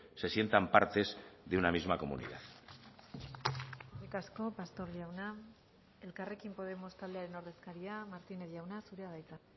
se sientan partes de una misma comunidad eskerrik asko pastor jauna elkarrekin podemos taldearen ordezkaria martínez jauna zurea da hitza